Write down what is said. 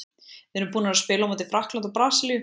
Við erum búnar að spila á móti Frakklandi og Brasilíu.